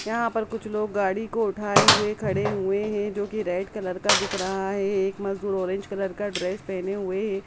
यहां पर कुछ लोग गाड़ी को उठाए हुए खड़े हुए हैं जो कि रेड कलर का दिख रहा हैये एक मजदूर ऑरेंज का कलर का ड्रेस पहने हुए हैं।